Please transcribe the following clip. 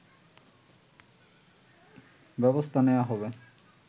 ব্যবস্থা নেয়া হবে